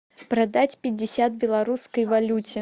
продать пятьдесят в белорусской валюте